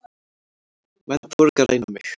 Menn þora ekki að ræna mig.